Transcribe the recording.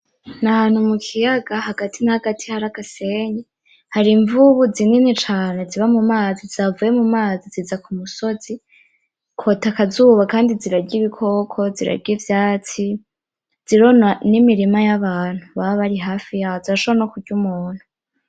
Nahantu mukiyaga hagati na hagati hari agasenyi hari imvubu zinini cane ziba mumazi zavuye mumazi ziza kumusozi kota akazuba kandi zirarya ibikoko zirarya ivyatsi zirona nimirima yabantu baba bari hafi yazo zirashobora nokurya umuntu.